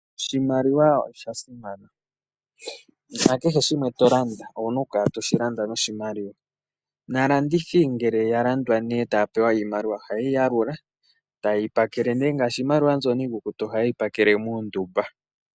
Oshimaliwa osha simana kehe shimwe tolanda oho longitha oshimaliwa. Aalandithi ngele yalanditha etaya pewa iimaliwa ohayeyi yalula eta yeyi pakele ngaashi ndyono iikukutu ohayeyi pakele muundumba.